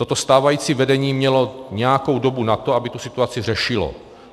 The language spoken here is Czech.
Toto stávající vedení mělo nějakou dobu na to, aby tu situaci řešilo.